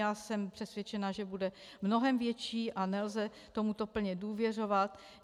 Já jsem přesvědčena, že bude mnohem větší a nelze tomuto plně důvěřovat.